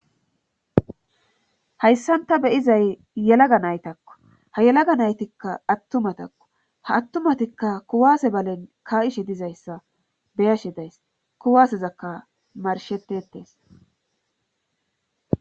hayssanta beyizay yelaga naytakko ha yelaga naytikka ha attumatakko ha attumatikka kuwaase balen ka7ishe dizayssa beyashe days kuwaasezakka marshettetees